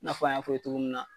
N'a fɔ an y'a fo i ye togo minna